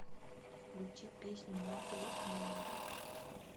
включи песню маугли айай